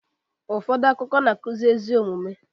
Ụfọdụ akụkọ na-akuzi ezigbo omume